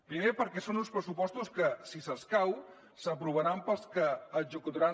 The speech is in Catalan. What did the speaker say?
primer perquè són uns pressupostos que si s’escau s’aprovaran pels executaran